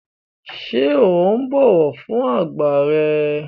Ṣé o bọ̀wọ̀ fún àgbà rẹ?